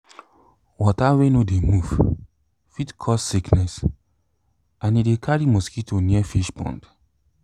water wey no dey move fit cause sickness and e de carry mosquito near fish pond